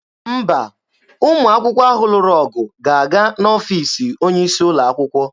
Mba, ụmụ akwụkwọ ahụ lụrụ ọgụ ga-aga n'ọfiisi onye isi ụlọ akwụkwọ.